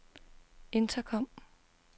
intercom